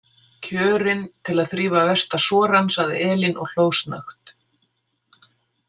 Kjörinn til að þrífa versta sorann, sagði Elín og hló snöggt.